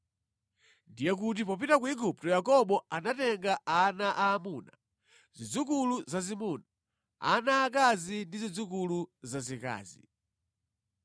Ndiye kuti popita ku Igupto Yakobo anatenga ana aamuna, zidzukulu zazimuna, ana aakazi ndi zidzukulu zazikazi.